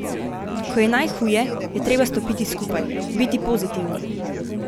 Ko je najhuje, je treba stopiti skupaj, biti pozitivni.